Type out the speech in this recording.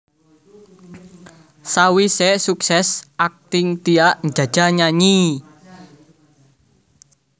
Sawisé sukses akting Tia njajal nyanyi